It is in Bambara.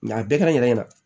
a bɛɛ kɛ n yɛrɛ ɲɛna